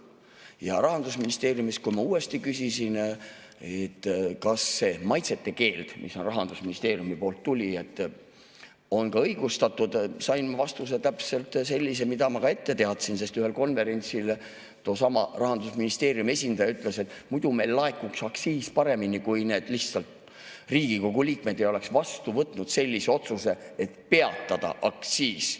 Ja Rahandusministeeriumist, kui ma uuesti küsisin, et kas see maitsete keeld, mis Rahandusministeeriumist tuli, on ka õigustatud, sain ma vastuse täpselt sellise, mida ma juba ette teadsin, sest ühel konverentsil toosama Rahandusministeeriumi esindaja ütles, et muidu meil laekuks aktsiis paremini, kui need Riigikogu liikmed ei oleks vastu võtnud otsuse peatada aktsiis.